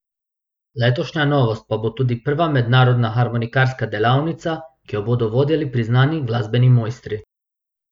Letošnja novost pa bo tudi prva mednarodna harmonikarska delavnica, ki jo bodo vodili priznani glasbeni mojstri.